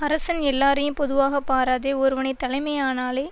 அரசன் எல்லாரையும் பொதுவாக பாராதே ஒருவனை தலைமையானாலே